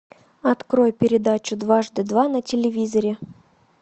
открой передачу дважды два на телевизоре